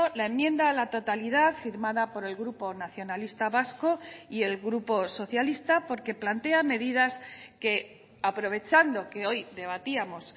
la enmienda a la totalidad firmada por el grupo nacionalista vasco y el grupo socialista porque plantea medidas que aprovechando que hoy debatíamos